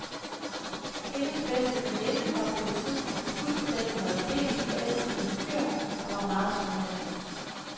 Hendes bedste veninde var på et tidspunkt fuldstændig og aldeles forelsket i en fyr, der var meget charmerende.